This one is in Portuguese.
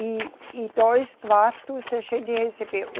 E, e dois quartos a gente recebeu.